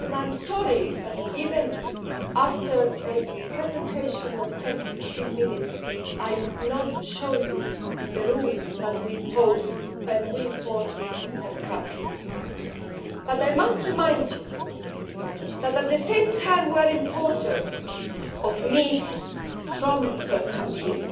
I am sorry that, even after a presentation of 10 to 15 minutes, I failed to explain the rules we impose when we import from third countries. I must remind you that at the same time as we are importers of meat from third countries